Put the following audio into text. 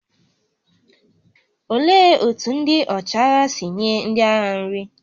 Olee otú ndị ọchịagha si nye ndị agha nri?